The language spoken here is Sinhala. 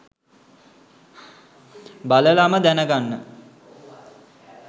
බලලම දැනගන්න